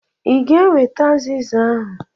I ga-eweta azịza ahụ.